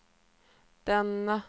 denne